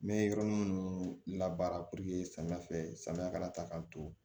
N bɛ yɔrɔ min labaara purke samiya fɛ samiya kana ta k'a to